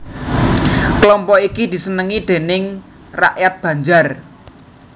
Kelompok iki disenengi déning rakyat Banjar